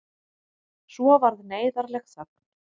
Svo varð neyðarleg þögn.